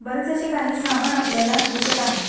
बरेच अशी काही समान आपल्याला दिसत आहे.